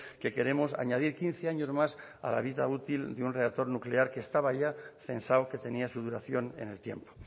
que queremos añadir quince años más a la vida útil de un reactor nuclear que estaba ya censado que tenía su duración en el tiempo